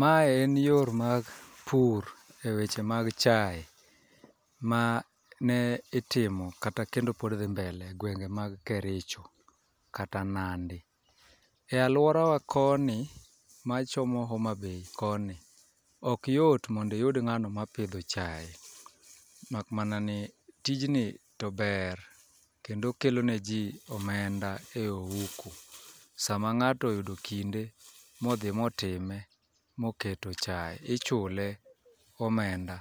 Mae en yor ma pur e weche mag chae ma ne itimo kata kendo pod dhi mbele gwenge mag Kericho kata Nandi. E alworawa koni machomo Homabay koni okyot mondo iyud ng'ano mapidho chae makmana ni tijni to ber kendo okelone ji omenda e ohuku sama ng'ato oyudo kinde modhi motime moketo chae ichule omenda